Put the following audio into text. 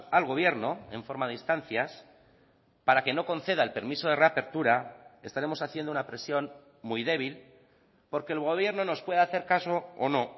al gobierno en forma de instancias para que no conceda el permiso de reapertura estaremos haciendo una presión muy débil porque el gobierno nos puede hacer caso o no